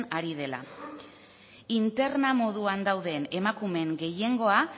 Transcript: ari dela interna moduan dauden emakumeen gehiengoa